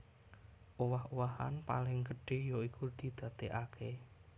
Owah owahan paling gedhé ya iku didadèkaké